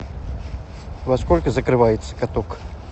во сколько закрывается каток